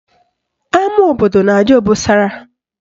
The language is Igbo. Ama obodo na-adị obosara